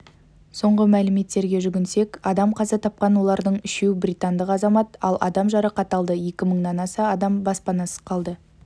соңғы мәліметтерге жүгінсек адам қаза тапқан олардың үшеу британдық азамат ал адам жарақат алды екі мыңнан аса адам баспанасыз қалды